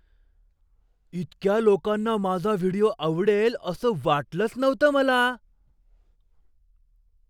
इतक्या लोकांना माझा व्हिडिओ आवडेल असं वाटलंच नव्हतं मला!